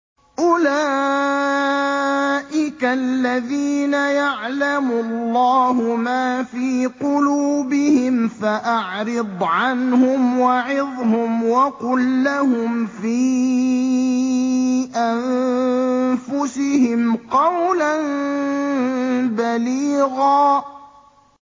أُولَٰئِكَ الَّذِينَ يَعْلَمُ اللَّهُ مَا فِي قُلُوبِهِمْ فَأَعْرِضْ عَنْهُمْ وَعِظْهُمْ وَقُل لَّهُمْ فِي أَنفُسِهِمْ قَوْلًا بَلِيغًا